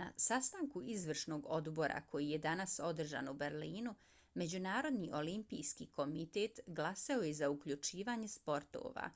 na sastanku izvršnog odbora koji je danas održan u berlinu međunarodni olimpijski komitet glasao je za uključivanje sportova.